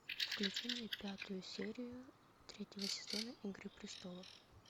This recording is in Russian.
включи мне пятую серию третьего сезона игры престолов